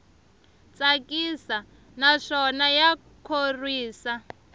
tsakisa naswona ya khorwisa